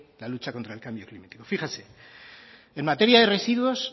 la lucha contra el cambio climático fíjese en materia de residuos